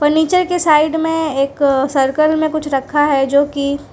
नीचे की साइड में एक सर्कल में कुछ रखा है जो की--